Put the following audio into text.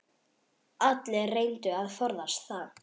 Allir reyndu að forðast það.